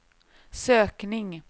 sökning